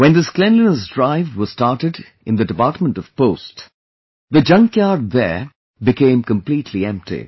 When this cleanliness drive was started in the Department of Post , the junkyard there became completely empty